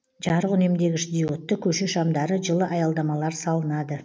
жарық үнемдегіш диодты көше шамдары жылы аялдамалар салынады